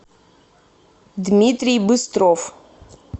дмитрий быстров